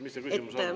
Mis see küsimus on?